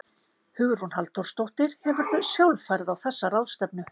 Hugrún Halldórsdóttir: Hefurðu sjálf farið á þessa ráðstefnu?